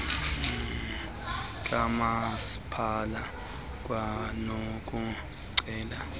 kamaspala kwanoku ceba